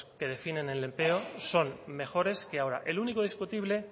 que definen el empleo son mejores que ahora el único discutible